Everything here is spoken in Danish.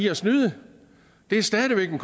at snyde det er stadig væk en